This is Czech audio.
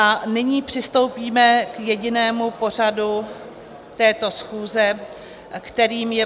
A nyní přistoupíme k jedinému bodu této schůze, kterým je